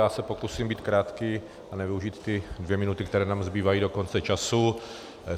Já se pokusím být krátký a nevyužít ty dvě minuty, které nám zbývají do konce času.